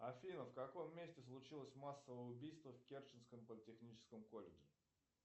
афина в каком месте случилось массовое убийство в керченском политехническом колледже